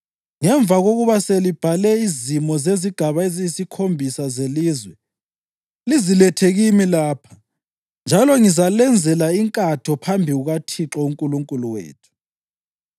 Ngemva kokuba selibhale izimo zezigaba eziyisikhombisa zelizwe, lizilethe kimi lapha njalo ngizalenzela inkatho phambi kukaThixo uNkulunkulu wethu.